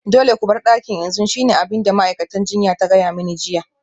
Dole ku bar dakin yanzu shine abin da ma'aikacin jinya ta gaya mani jiya